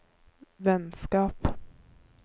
vennskap